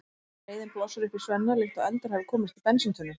Reiðin blossar upp í Svenna líkt og eldur hafi komist í bensíntunnu.